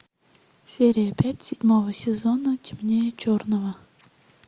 серия пять седьмого сезона темнее черного